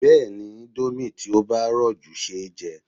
Bẹ́ẹ̀ni, indomie tí ó bá rọ̀ jù ṣeéjẹ